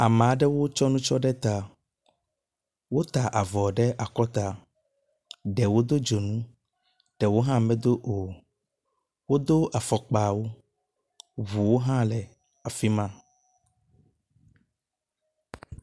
Ame aɖewo tsɔ nutsɔ ɖe ta. Wota avɔ ɖe akɔta. Ɖewo do dzonu ɖewo hã medo o. Wodo afɔkpa wu. Ŋuwo hã le afi ma.